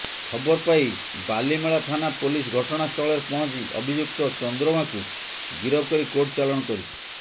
ଖବର ପାଇ ବାଲିମେଳା ଥାନା ପୋଲିସ ଘଟଣାସ୍ଥଳରେ ପହଞ୍ଚି ଅଭିଯୁକ୍ତ ଚନ୍ଦ୍ରମାଙ୍କୁ ଗିରଫ କରି କୋର୍ଟ ଚାଲାଣ କରିଛି